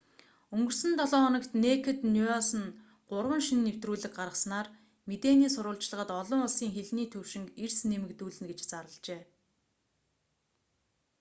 өнгөрсөн долоо хоногт нэйкэд ньюс нь гурван шинэ нэвтрүүлэг гаргаснаар мэдээний сурвалжлагад олон улсын хэлний төвшинг эрс нэмэгдүүлнэ гэж зарлажээ